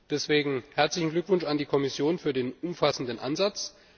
Deswegen herzlichen Glückwunsch an die Kommission für den umfassenden Ansatz!